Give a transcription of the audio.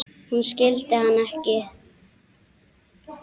Hún skildi hann ekki.